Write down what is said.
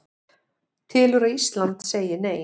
Telur að Ísland segi Nei